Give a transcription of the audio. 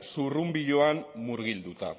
zurrunbiloan murgilduta